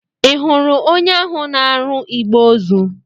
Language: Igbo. Ị hụru onye ahụ na-arụ igbè ozu?